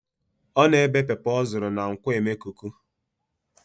Ọ na-ebé pọpọ ọ zụrụ na nkwo emekuku